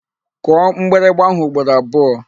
Kụọ mgbịrịgba áhụ̀ ugboro abụọ!